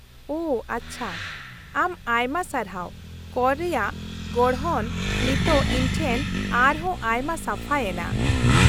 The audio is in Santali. -ᱳ ᱟᱪᱪᱷᱟ ᱾ ᱟᱢ ᱟᱭᱢᱟ ᱥᱟᱨᱦᱟᱣ, ᱠᱚᱨ ᱨᱮᱭᱟᱜ ᱜᱚᱲᱦᱚᱱ ᱱᱤᱛᱚᱜ ᱤᱧᱴᱷᱮᱱ ᱟᱨᱦᱚᱸ ᱟᱭᱢᱟ ᱥᱟᱯᱷᱟᱭᱮᱱᱟ ᱾